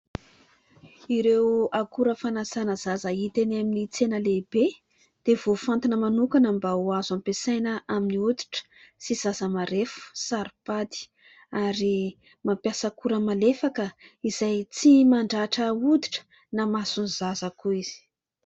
Ireo akora fanasana zaza hita eny amin'ny tsena lehibe dia voafantina manokana mba ho azo ampiasaina amin'ny hoditra sy zaza marefo sy saropady ary mampiasa akora malefaka izay tsy mandratra hoditra na maso ny zaza akory izy.